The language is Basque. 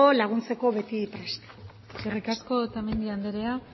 laguntzeko beti prest eskerrik asko otamendi anderea